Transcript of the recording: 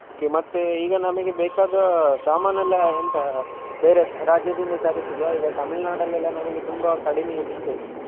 Okay ಮತ್ತೆ ನಮಗೆ ಈಗ ಬೇಕಾದ ಸಾಮಾನ್ ಎಲ್ಲ ಎಂತ ಬೇರೆ ರಾಜ್ಯದಿಂದ ತರಿಸುದ ಈಗ ತಮಿಳ್ನಾಡಲ್ಲಿ ತುಂಬಾ ಕಡಿಮೆಗೆ ಸಿಕ್ತದೆ.